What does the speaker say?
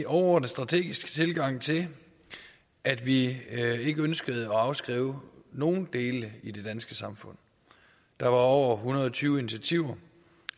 overordnet strategisk tilgang til at vi ikke ønskede at afskrive nogen dele i det danske samfund der er over en hundrede og tyve initiativer